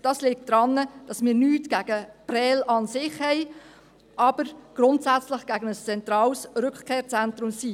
Das liegt daran, dass wir nichts gegen Prêles an sich haben, grundsätzlich aber gegen ein zentrales Rückkehrzentrum sind.